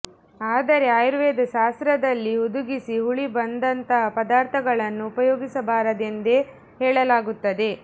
ಆದರೆ ಆಯುರ್ವೇದ ಶಾಸ್ತ್ರದಲ್ಲಿ ಹುದುಗಿಸಿ ಹುಳಿ ಬಂದಂತಹ ಪದಾರ್ಥಗಳನ್ನು ಉಪಯೋಗಿಸಬಾರದೆಂದೇ ಹೇಳಲಾಗುತ್ತದೆ